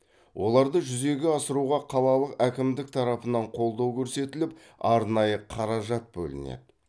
оларды жүзеге асыруға қалалы әкімдік тарапынан қолдау көрсетіліп арнайы қаражат бөлінеді